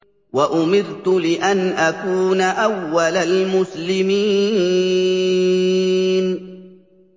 وَأُمِرْتُ لِأَنْ أَكُونَ أَوَّلَ الْمُسْلِمِينَ